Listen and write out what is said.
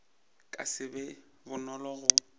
ka se be bonolo go